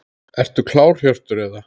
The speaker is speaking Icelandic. Ertu klár Hjörtur eða?